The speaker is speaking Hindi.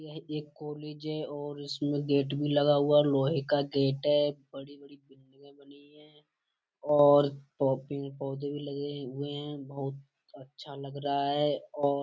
यह एक कॉलेज है और इसमें गेट भी लगा हुआ। लोहे का गेट है। बड़ी-बड़ी बिल्डिंगे बनी हैं और पौधे भी लगे हैं हुए हैं। बहुत अच्छा लग रहा है और --